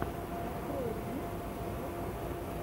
открой ремиксы ютуб